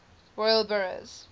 royal burghs